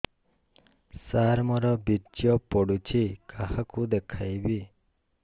ସାର ମୋର ବୀର୍ଯ୍ୟ ପଢ଼ୁଛି କାହାକୁ ଦେଖେଇବି